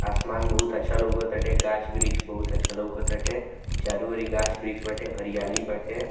आसमान बहुत अच्छा लौकत हटे गाछ-वृक्ष बहुत अच्छा लोकत हटे चारों ओर गाछ-वृक्ष बाटे हरियाली बाटे।